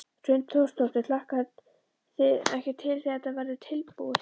Hrund Þórsdóttir: Hlakkið þið ekki til þegar þetta verður tilbúið?